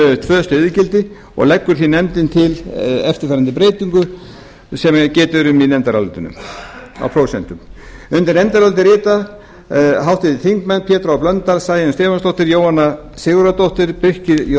um tvö stöðugildi og leggur því nefndin til eftirfarandi breytingu sem getið er um í nefndarálitinu á prósentum undir nefndarálitið rita háttvirtir þingmenn pétur h blöndal sæunn stefánsdóttir jóhanna sigurðardóttir birkir j